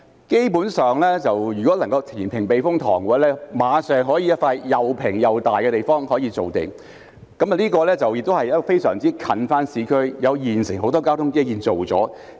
基本上，如果能夠填平避風塘，馬上可以有一幅又平又大的地方可以造地，亦與市區非常接近，而且現時已有很多交通基建建成。